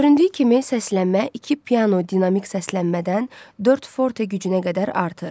Göründüyü kimi, səslənmə iki piano dinamik səslənmədən dörd forte gücünə qədər artır.